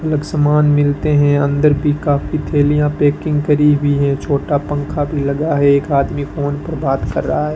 अलग समान मिलते है अंदर भी काफी थैलियां पैकिंग करी हुई है छोटा पंखा भी लगा है एक आदमी फोन पर बात कर रहा है।